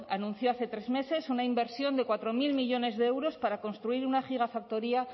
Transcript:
anunció hace tres meses una inversión de cuatro mil millónes de euros para construir una gigafactoría